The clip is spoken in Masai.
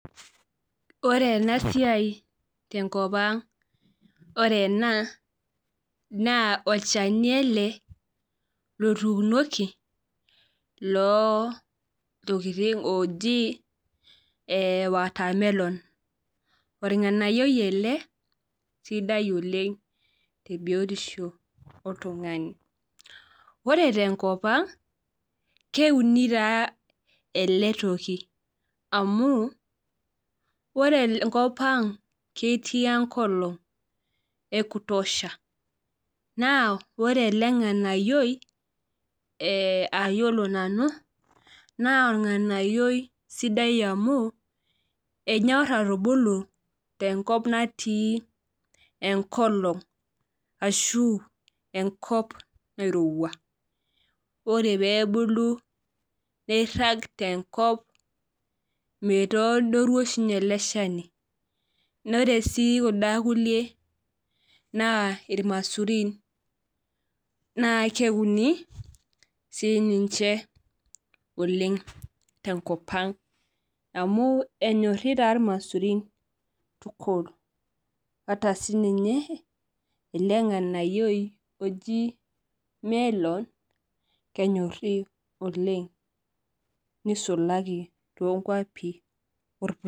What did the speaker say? Ore ena siai tenkopang, ore ena naa olchani ele lotuunoki loontoking oji watermelon organayioi ele sidai oleng tebiotisho oltungani. Ore tenkopang keuni taa ele toki amu ore enkopang ketii enkolong ekutosha naa ore ele nganayioni ayiolo nanu ,enyor atubulu tenkop natii enkolong ashu enkop nairowua .Ore pee ebulu neirag tenkop ,meitodoru oshi ninye ele shani ore kunda kulie naa irmaisurin naa keuni siininche oleng tenkopang amu enyori taa irmaisurin oleng ata ele nganayio oji melon kenyori oleng neisulaki toonkwapi orpurkel.